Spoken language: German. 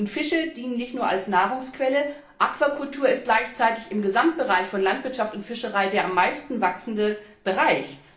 Fische dienen nicht nur als Nahrungsquelle, Aquakultur ist gleichzeitig im Gesamtbereich von Landwirtschaft und Fischerei der am meisten wachsende Bereich.